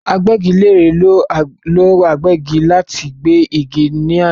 Agbẹ́gilére ló agbẹ́gi láti gbé igi ní àná